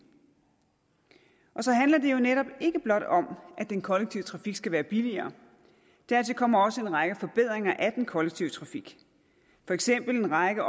det handler jo netop ikke blot om at den kollektive trafik skal være billigere dertil kommer også en række forbedringer af den kollektive trafik for eksempel en række